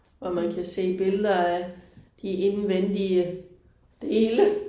Hvor man kan se billeder af de indvendige dele